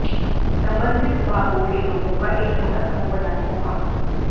संबंधित विभागों के लोगों का एक छोटा समूह बनाने को कहा